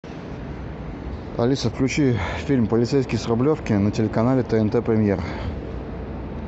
алиса включи фильм полицейский с рублевки на телеканале тнт премьер